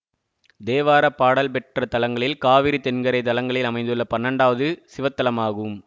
தேவார பாடல் பெற்ற தலங்களில் காவிரி தென்கரை தலங்களில் அமைந்துள்ள பன்னெண்டாவது சிவத்தலமாகும்